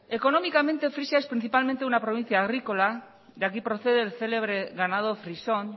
económicamente frisia es principalmente una provincia agrícola de aquí procede el célebre ganado frisón